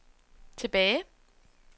tilbage